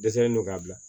Dɛsɛlen non k'a bila